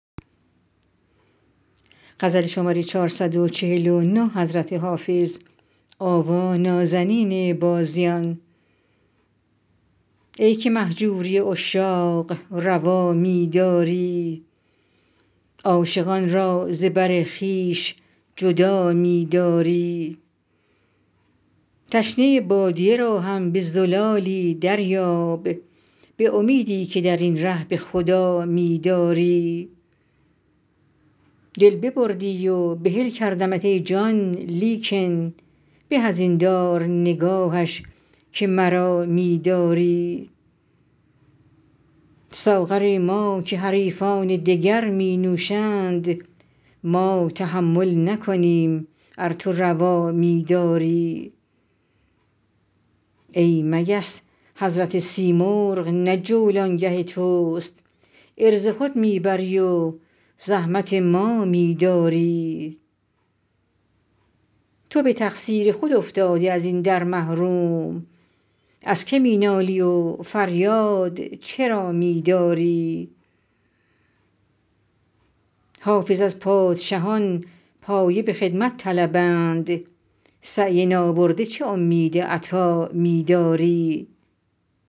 ای که مهجوری عشاق روا می داری عاشقان را ز بر خویش جدا می داری تشنه بادیه را هم به زلالی دریاب به امیدی که در این ره به خدا می داری دل ببردی و بحل کردمت ای جان لیکن به از این دار نگاهش که مرا می داری ساغر ما که حریفان دگر می نوشند ما تحمل نکنیم ار تو روا می داری ای مگس حضرت سیمرغ نه جولانگه توست عرض خود می بری و زحمت ما می داری تو به تقصیر خود افتادی از این در محروم از که می نالی و فریاد چرا می داری حافظ از پادشهان پایه به خدمت طلبند سعی نابرده چه امید عطا می داری